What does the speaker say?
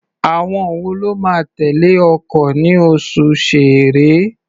Àwọn wo ló máa tẹ̀lé ọkọ̀ ní oṣù Ṣẹẹrẹ?